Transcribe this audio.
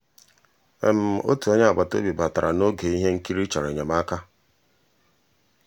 ótú ónyé àgbàtà òbí bàtarà n'ògé íhé nkírí chọ̀rọ́ ényémàká.